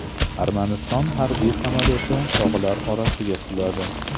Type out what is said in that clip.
Armaniston harbiy samolyoti tog‘lar orasiga quladi.